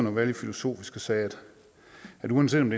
at være lidt filosofisk og sagde at uanset om